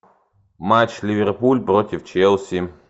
матч ливерпуль против челси